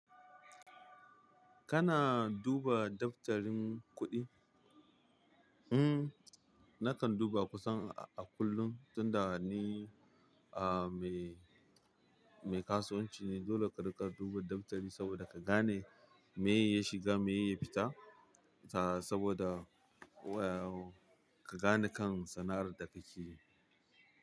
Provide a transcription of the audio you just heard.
Kana duba daftarin kuɗi? In nakan duba kusan a kullum tunda ni a mai kasuwanci ne dole ka rinka duba da mutane sabo da kagane miye ya fita miye ya shiga. Ta, saboda, wa, ka gane kan sana'ar da kake yi.